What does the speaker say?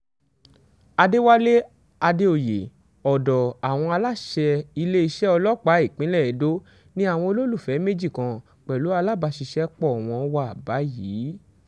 àdẹ̀wálé àdèoyè ọ̀dọ̀ àwọn aláṣẹ iléeṣẹ́ ọlọ́pàá ìpínlẹ̀ edo ni àwọn olólùfẹ́ méjì kan pẹ̀lú alábàṣiṣẹ́pọ̀ wọn wà báyìí